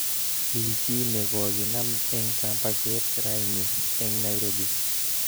Mii chi nekokinam eng kambaket raini eng Nairobi